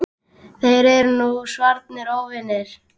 Þeir eru nú svarnir óvinir.